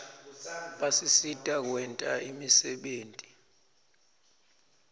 basisita kwenta imisebenti